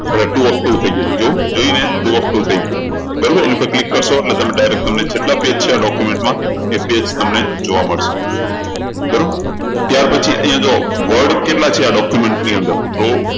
તો હવે two of two થઇ જશે જોવો જોયું અહિયાં two of two થઇ ગયું બરોબર એની ઉપર તમે click કરશો એટલે direct તમને જેટલા page છે આ document માં એ page તમને જોવા મળશે બરોબર ત્યારપછી અહિયાં જુઓ word કેટલા છે આ document ની અંદર તો